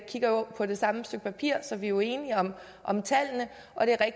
kigger på det samme stykke papir så vi er jo enige om tallene